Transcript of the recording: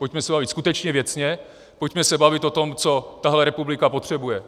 Pojďme se bavit skutečně věcně, pojďme se bavit o tom, co tahle republika potřebuje.